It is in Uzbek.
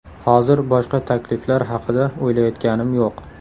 Hozir boshqa takliflar haqida o‘ylayotganim yo‘q.